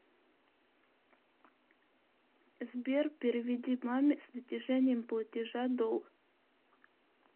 сбер переведи маме с натяжением платежа долг